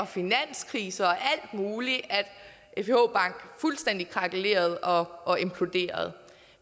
finanskrise og alt muligt at fih fuldstændig krakelerede og imploderede